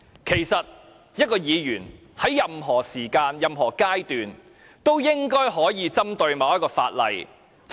其實，議員應該可以在任何時間、任何階段針對某項法例發言。